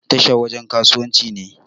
Tasha wajan kasuwanci ne